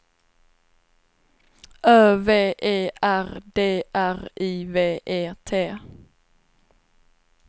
Ö V E R D R I V E T